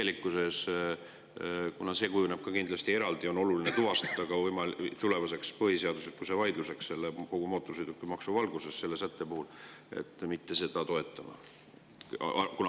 Kuna kindlasti on oluline selle sätte puhul see ka eraldi tuvastada tulevase võimaliku põhiseaduslikkuse vaidluse jaoks kogu mootorsõidukimaksu valguses, seda mitte toetama.